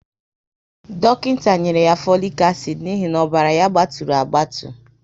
Dọkịnta nyere ya folic acid n'ihi na ọbara ya gbaturu agbatu